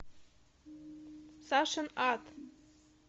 сашин ад